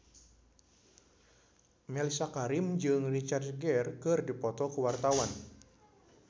Mellisa Karim jeung Richard Gere keur dipoto ku wartawan